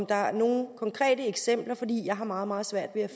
der nogle konkrete eksempler for jeg har meget meget svært ved at